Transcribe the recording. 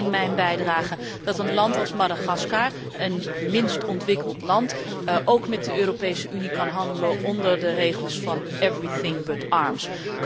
Ik zei in mijn bijdrage dat een land als Madagaskar, een minst ontwikkeld land, ook met de Europese Unie kan handelen onder de regels van alles behalve wapens.